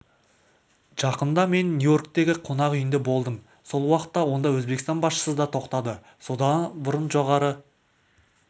жақында мен нью-йорктегі қонақ үйінде болдым сол уақытта онда өзбекстан басшысы да тоқтады сонда бұрын жоғары